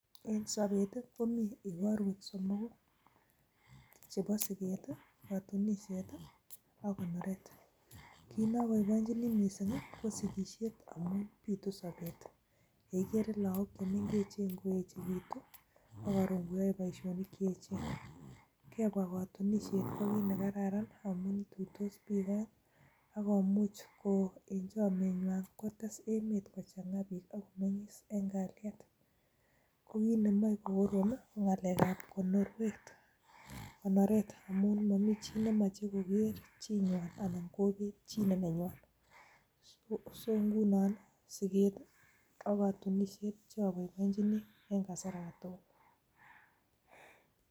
En sobet komi igorwek somogu, chebo: siket, katunisiet ak konoret. Kit ne oboiboinchini mising ko sigisiet amun bitu sobet. Ye igere lagok che mengechen koechekitu, ak koron koyoe boisionik che echen. Kebwa kotunisiet ko kit ne kararan amun ituitos biik oeng ak komuch ko en chomnyenywan kotes emet kochang'a biik ak ko meng'is en kalyet. Ko kit nemoe kogorom ii ko ng'alekab konoret, amun momi chi nemoche koger chi nywan anan kobet chi ne nenywan so ngunon siget ak katunisiet che oboiboinchini en kasar age tugul.